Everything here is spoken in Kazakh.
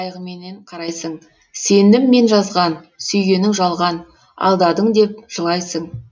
қайғыменен қарайсың сендім мен жазған сүйгенің жалған алдадың деп жылайсың